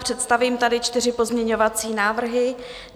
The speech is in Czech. Představím tady čtyři pozměňovací návrhy.